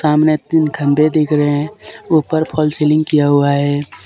सामने तीन खंभे दिख रहे हैं ऊपर फाल्स सीलिंग किया हुआ है।